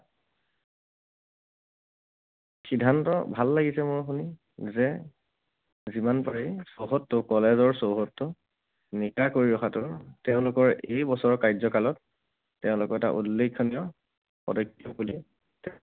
সিদ্ধান্ত ভাল লাগিছে মোৰ শুনি যে যিমান পাৰি চৌহদটো, college ৰ চৌহদটো নিকা কৰি ৰখাটো তেওঁলোকৰ এই বছৰৰ কাৰ্যকালত তেওঁলোকৰ এটা উল্লেখনীয় পদক্ষেপ বুলি